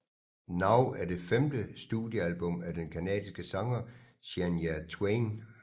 Now er det femte studiealbum af den canadiske sanger Shania Twain